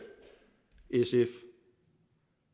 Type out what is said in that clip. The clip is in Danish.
sf